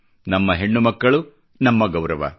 ನಮ್ಮ ಹೆಣ್ಣು ಮಕ್ಕಳು ನಮ್ಮ ಗೌರವ